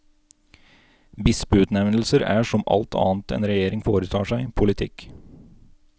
Bispeutnevnelser er, som alt annet en regjering foretar seg, politikk.